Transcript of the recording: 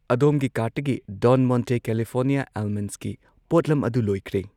ꯑꯗꯣꯝꯒꯤ ꯀꯥꯔꯠꯇꯒꯤ Don Monte California ꯑꯜꯃꯟꯁꯀꯤ ꯄꯣꯠꯂꯝ ꯑꯗꯨ ꯂꯣꯏꯈ꯭ꯔꯦ꯫